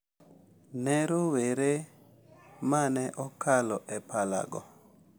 Ne rowere ma ne okalo e palago.